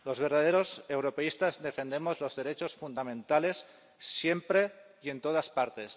Los verdaderos europeístas defendemos los derechos fundamentales siempre y en todas partes.